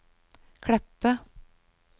Kleppe